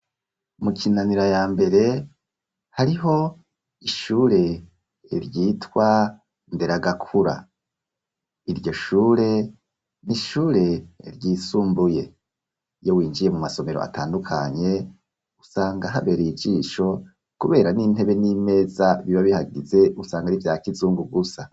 mu kinanira ya mbere hariho ishure ryitwa nderagakura iryo shure nishure ryisumbuye iyo winjiye mu masomero atandukanye usanga habereye ijisho kubera n'intebe n'imeza biba bihagize usanga ari bya kizungu gusa